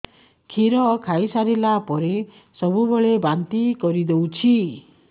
କ୍ଷୀର ଖାଇସାରିଲା ପରେ ସବୁବେଳେ ବାନ୍ତି କରିଦେଉଛି